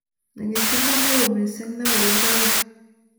Nyigisindo ne oo mising ne bo logoek